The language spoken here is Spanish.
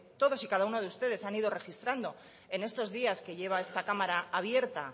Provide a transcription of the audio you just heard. todos y cada uno de ustedes han ido registrando en estos días que lleva esta cámara abierta